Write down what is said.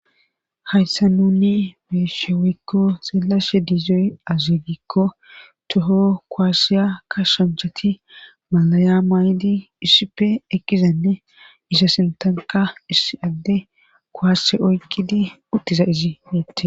Hayssa nunni beeshewikko seelashe diizoy azigikko toho koaassiya ka shanchati malaya maydi issippe eqkizenne isa sintanka isi adde koashe oykkidi uttiza izie